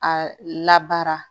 A labaara